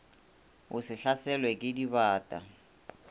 o se hlaselwe ke dibata